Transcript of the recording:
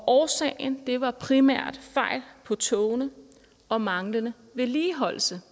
årsagen var primært fejl på togene og manglende vedligeholdelse